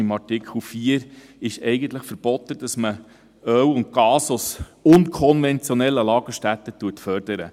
Gemäss Artikel 4 ist es eigentlich verboten, dass man Öl und Gas aus unkonventionellen Lagerstätten fördert.